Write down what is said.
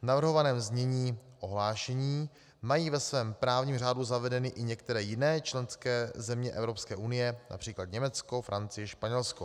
V navrhovaném znění ohlášení mají ve svém právní řádu zavedeny i některé jiné členské země EU, například Německo, Francie, Španělsko.